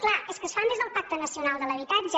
clar és que es fan des del pacte nacional de l’habitatge